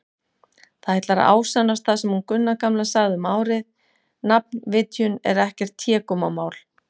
Það ætlar að ásannast sem hún Gunna gamla sagði um árið: nafnvitjun er ekkert hégómamál.